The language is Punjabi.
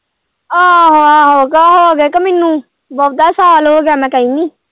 ਆਹੋ-ਆਹੋ ਅਗਾਂਹ ਹੋ ਗਏ ਕਿ ਮੈਨੂੰ ਬਹੁਤਾ ਸਾਲ ਹੋ ਗਿਆ ਮੈਂ ਕਹਿਣੀ।